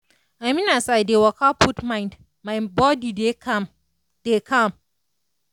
i mean as i dey waka put mind my body dey calm. dey calm.